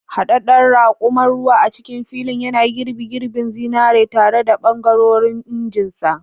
Haɗaɗɗen raƙuman ruwa a cikin filin, yana girbi girbin zinare tare da ɓangarorin injinsa.